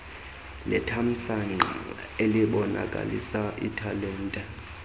lethamsanqa elibonakalisa italente